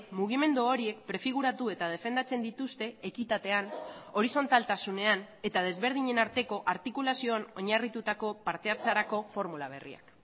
mugimendu horiek prefiguratu eta defendatzen dituzte ekitatean horizontaltasunean eta desberdinen arteko artikulazioan oinarritutako partehartzerako formula berriak